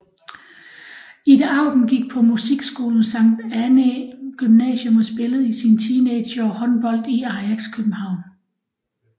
Ida Auken gik på musikskolen Sankt Annæ Gymnasium og spillede i sine teenageår håndbold i Ajax København